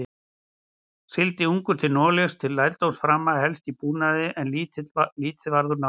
Sigldi ungur til Noregs til lærdómsframa, helst í búnaði, en lítið varð úr námi.